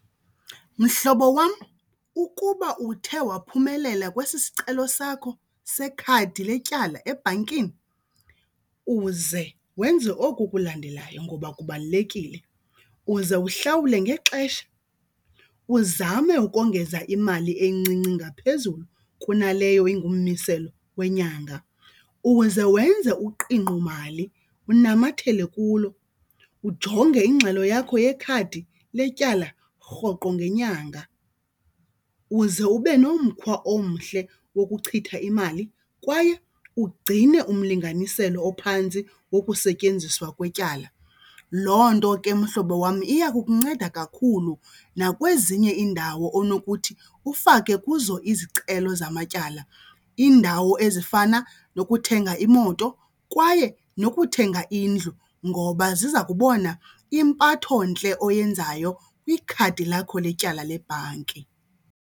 Mhlobo wam, ukuba uthe waphumelela kwesi sicelo sakho sekhadi letyala ebhankini uze wenze oku kulandelayo ngoba kubalulekile. Uze uhlawule ngexesha, uzame ukongeza imali encinci ngaphezulu kunaleyo ungummiselo wenyanga. Uze wenze uqingqomali unamathele kulo ujonge ingxelo yakho yekhadi letyala rhoqo ngenyanga. Uze ube nomkhwa omhle wokuchitha imali kwaye ugcine umlinganiselo ophantsi wokusetyenziswa kwetyala. Loo nto ke mhlobo wam iya kukunceda kakhulu nakwezinye iindawo onokuthi ufake kuzo izicelo zamatyala, iindawo ezifana nokuthenga imoto kwaye nokuthenga indlu ngoba ziza kubona impathontle oyenzayo kwikhadi lakho letyala lebhanki.